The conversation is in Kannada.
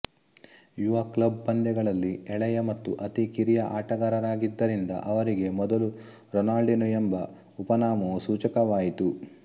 ಯುವ ಕ್ಲಬ್ ಪಂದ್ಯಗಳಲ್ಲಿ ಎಳೆಯ ಮತ್ತು ಅತಿ ಕಿರಿಯ ಆಟಗಾರರಾಗಿದ್ದರಿಂದ ಅವರಿಗೆ ಮೊದಲು ರೊನಾಲ್ಡಿನೊ ಎಂಬ ಉಪನಾಮವೂ ಸೂಚಕವಾಯಿತು